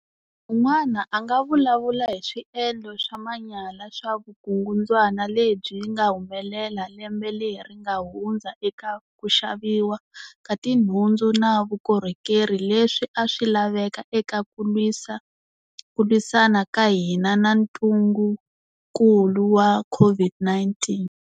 Un'wana a nga vulavula hi swiendlo swa manyala swa vukungundzwana lebyi nga humelela lembe leri nga hundza eka ku xaviwa ka tinhundzu na vukorhokeri leswi a swi laveka eka ku lwisa ku lwisana ka hina na ntungukulu wa COVID-19.